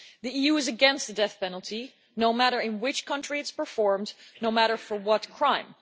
The EU is against the death penalty, no matter in which country it is performed, no matter for what crime